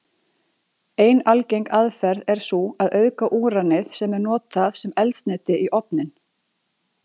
Ein algeng aðferð er sú að auðga úranið sem er notað sem eldsneyti í ofninn.